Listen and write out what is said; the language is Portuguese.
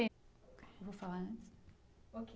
Eu vou falar antes.